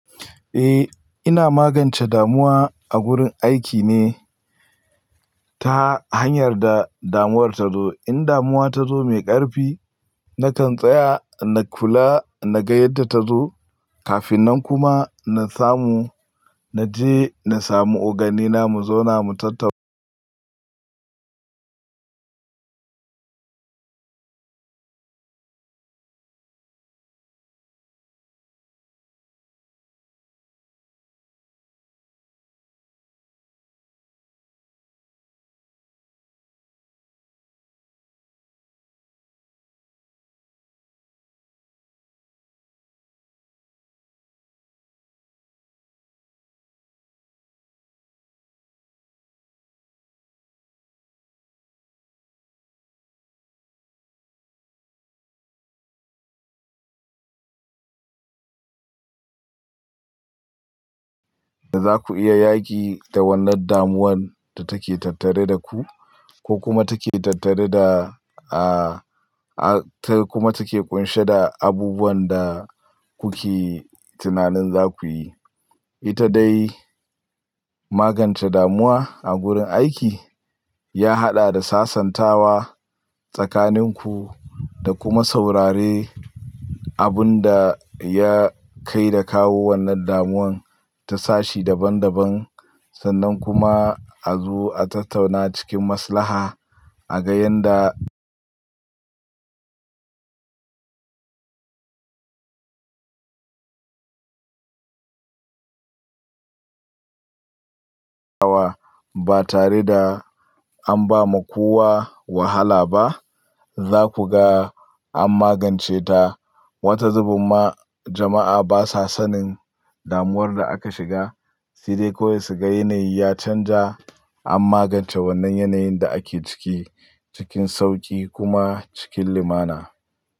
Eh, ina magance damuwa a gurin aiki ne ta hanyar da damuwar ta zo. In damuwa ta zo mai ƙarfi, na kan tsaya na kula na ga yadda ta zo kafin nan kuma na samu na je na samu oganena mu zauna mu tatta- Da za ku iya yaƙi da wannan damuwan da take tattare da ku ko kuma take tattare da, ah, ah, ta kuma take ƙunshe da abubuwan da kuke tunanin za ku yi. Ita dai magance damuwa a gurin aiki ya haɗa da sasantawa tsakaninku da kuma saurare abun da ya kai da kawo wannan damuwan ta sashi daban-daban, sannan kuma a zo a tattauna cikin maslaha a ga yanda- ba tare da an ba ma kowa wahala ba, za ku ga an magance ta. Wata zubin ma jama'a basa sanin damuwar da aka shiga, sai dai kowai su ga yanayi ya canja an magance wannan yanayin da ake ciki cikin sauƙi kuma cikin limana.